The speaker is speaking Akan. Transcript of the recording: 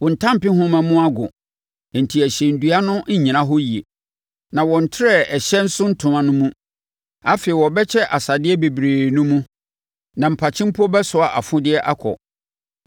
Wo ntampehoma mu ago enti ɛhyɛn dua no nnyina hɔ yie, na wɔntrɛɛ ɛhyɛn so ntoma no mu. Afei wɔbɛkyɛ asadeɛ bebree no mu na mpakye mpo bɛsoa afodeɛ akɔ.